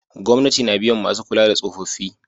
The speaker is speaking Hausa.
Gwamnati na biyan masu kula da tsofaffi